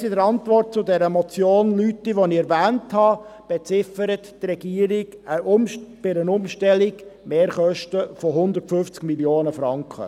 Bereits in der Antwort auf die Motion Lüthi , die ich genannt habe, erwähnte die Regierung bei einer Umstellung Mehrkosten von 150 Mio. Franken.